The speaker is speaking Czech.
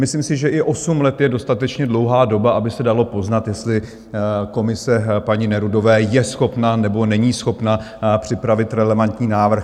Myslím si, že i osm let je dostatečně dlouhá doba, aby se dalo poznat, jestli komise paní Nerudové je schopna nebo není schopna připravit relevantní návrh.